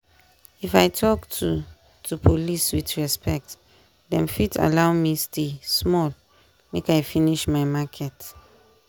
if i talk to to police with respect dem fit allow me stay small make i finish my market.